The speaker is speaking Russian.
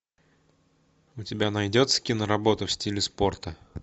у тебя найдется киноработа в стиле спорта